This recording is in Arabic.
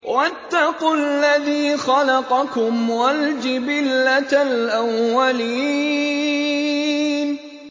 وَاتَّقُوا الَّذِي خَلَقَكُمْ وَالْجِبِلَّةَ الْأَوَّلِينَ